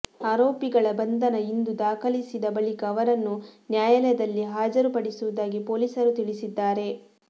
ಆರೋಪಿ ಗಳ ಬಂಧನ ಇಂದು ದಾಖಲಿಸಿದ ಬಳಿಕ ಅವರನ್ನು ನ್ಯಾಯಾಲಯದಲ್ಲಿ ಹಾಜರುಪಡಿಸುವುದಾಗಿ ಪೊಲೀಸರು ತಿಳಿಸಿದ್ದಾರೆ